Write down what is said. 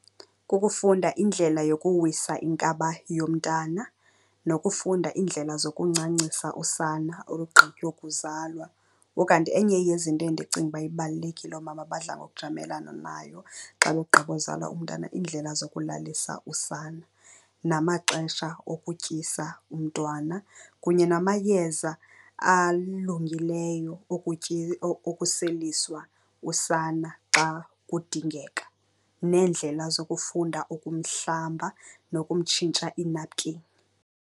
Kukufunda indlela yokuwisa inkaba yomntana nokufunda iindlela zokuncancisa usana olugqitywa ukuzalwa. Ukanti enye yezinto endicinga uba ibalulekile oomama abadla ngokujamelana nayo xa begqiba uzala umntana, iindlela zokulalisa usana namaxesha okutyisa umntwana, kunye namayeza alungileyo okuseliswa usana xa kudingeka. Neendlela zokufunda ukumhlamba nokumtshintsha inapukeni.